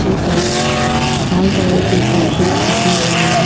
जिन पर लाल कलर के कारपेट रखे हुए हैं।